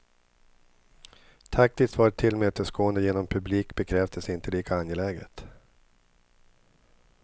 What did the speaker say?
Taktiskt var ett tillmötesgående genom publik bekräftelse inte lika angeläget.